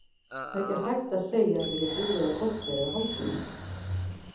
Það er ekki hægt að segja að þetta sé búið á korteri eða hálftíma.